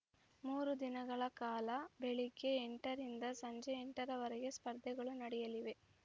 ಮೂರು ದಿನಗಳ ಕಾಲ ಬೆಳಗ್ಗೆ ಎಂಟರಿಂದ ಸಂಜೆ ಎಂಟರ ವರೆಗೆ ಸ್ಪರ್ಧೆಗಳು ನಡೆಯಲಿವೆ